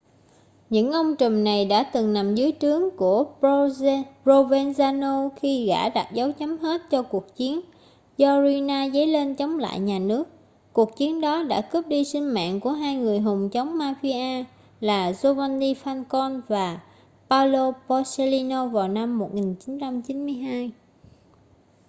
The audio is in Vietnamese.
những ông trùm này đã từng nằm dưới trướng của provenzano khi gã đặt dấu chấm hết cho cuộc chiến do riina dấy lên chống lại nhà nước cuộc chiến đó đã cướp đi sinh mạng của hai người hùng chống mafia là giovanni falcone và paolo borsellino vào năm 1992